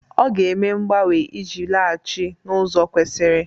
Ọ ga-eme mgbanwe iji laghachi n'ụzọ kwesiri.